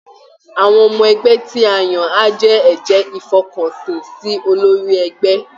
Àwọn ọmọ ẹgbẹ́ tí a yàn á jẹ́ ẹ̀jẹ́ ìfọkànsìn sí olórí ẹgbẹ́